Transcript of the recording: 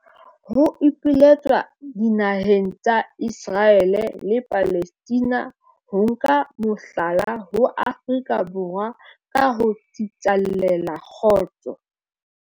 Ho ipiletswa dinaheng tsa Iseraele le Palestina ho nka mohlala ho Afrika Borwa ka ho tsitlallela kgotso